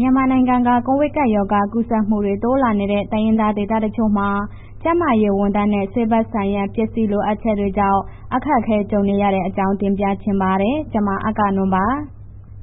မြန်မာနိုင်ငံက ကိုဗစ်ကပ်ရောဂါ ကူးစက်မှုတွေ တိုးလာနေတဲ့ တိုင်းရင်းသားဒေသတချို့မှာ ကျန်းမာရေးဝန်ထမ်းနဲ့ ဆေးဘက်ဆိုင်ရာပစ္စည်း လိုအပ်ချက်တွေကြောင့် အခက်အခဲကြုံနေရတဲ့အကြောင်း တင်ပြပါမယ်။ ဗွီအိုအေမြန်မာပိုင်း သတင်းထောက် မ